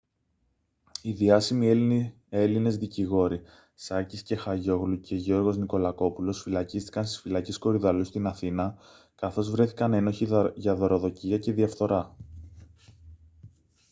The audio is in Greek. οι διάσημοι έλληνες δικηγόροι σάκης κεχαγιόγλου και γιώργος νικολακόπουλος φυλακίστηκαν στις φυλακές κορυδαλλού στην αθήνα καθώς βρέθηκαν ένοχοι για δωροδοκία και διαφθορά